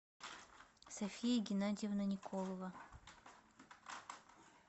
софия геннадьевна николова